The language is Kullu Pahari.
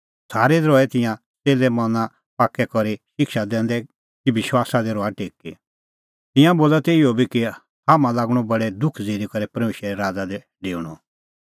सारै दी रहै तिंयां च़ेल्ले मना पाक्कै करी शिक्षा दैंदै कि विश्वासा दी रहा टेकी तिंयां बोला तै इहअ बी कि हाम्हां लागणअ बडै दुख ज़िरी करै परमेशरे राज़ा दी डेऊणअ